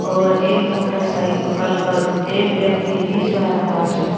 और एक मोटरसाइकल पर एक व्यक्ति भी जा रहा है।